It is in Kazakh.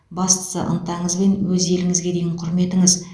бастысы ынтаңыз бен өз еліңізге деген құрметіңіз